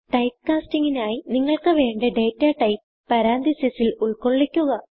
typecasting നായി നിങ്ങൾക്ക് വേണ്ട ഡേറ്റാടൈപ്പ് പരന്തസിസ് ൽ ഉൾകൊള്ളിക്കുക